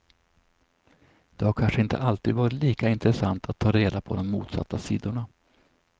Det har kanske inte alltid varit lika intressant att ta reda på de motsatta sidorna.